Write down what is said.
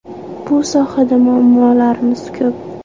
Bu sohada muammolarimiz ko‘p.